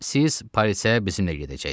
Siz polisə bizimlə gedəcəksiz.